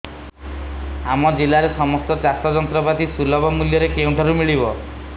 ଆମ ଜିଲ୍ଲାରେ ସମସ୍ତ ଚାଷ ଯନ୍ତ୍ରପାତି ସୁଲଭ ମୁଲ୍ଯରେ କେଉଁଠାରୁ ମିଳିବ